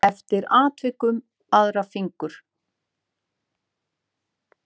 Og eftir atvikum aðra fingur.